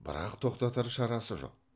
бірақ тоқтатар шарасы жоқ